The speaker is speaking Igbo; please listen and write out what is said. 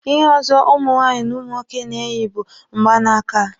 Ihe ọzọ ụmụ nwaanyị na umu nwoke na-eyi bụ mgba n'aka.